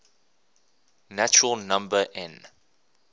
natural number n